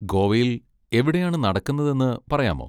ഗോവയിൽ എവിടെയാണ് നടക്കുന്നതെന്ന് പറയാമോ?